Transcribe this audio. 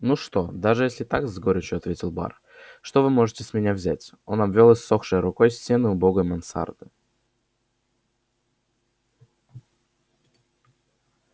ну что если даже так с горечью ответил бар что вы можете с меня взять он обвёл иссохшей рукой стены убогой мансарды